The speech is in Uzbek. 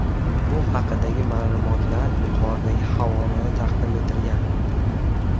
Bu haqdagi ma’lumotlar yuqoridagi havolada taqdim etilgan.